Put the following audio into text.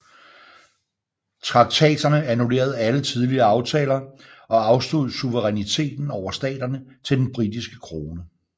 Traktaterne annullerede alle tidligere aftaler og afstod suveræniteten over staterne til den britiske krone